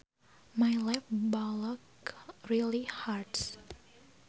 My left bollock really hurts